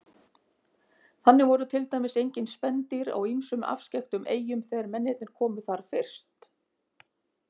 Þannig voru til dæmis engin spendýr á ýmsum afskekktum eyjum þegar mennirnir komu þar fyrst.